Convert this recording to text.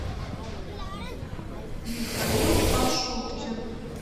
михаил пашуткин